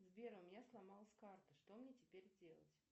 сбер у меня сломалась карта что мне теперь делать